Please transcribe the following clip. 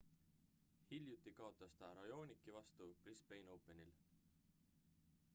hiljuti kaotas ta raonici vastu brisbane openil